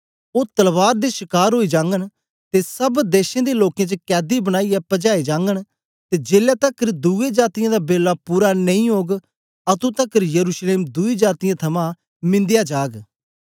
ओ तलवार दे शकार ओई जागन ते सब देशें दे लोकें च कैदी बनाईयै पजाए जागन ते जेलै तकर दुए जातीयें दा बेला पूरा नेई ओग अतुं तकर यरूशलेम दुई जातीयें थमां मिन्दया जाग